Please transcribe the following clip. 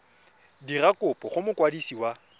dira kopo go mokwadisi wa